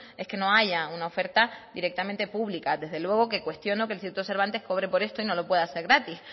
es que no haya una oferta directamente pública desde luego que cuestiono que el instituto cervantes cobre por esto y no lo pueda hacer gratis